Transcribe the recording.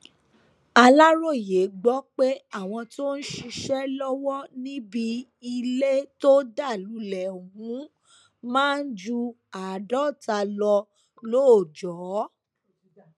aláròyé gbọ pé àwọn tó ń ṣiṣẹ lọwọ níbi ilé tó dá lulẹ ọhún máa ń ju àádọta lọ lóòjọ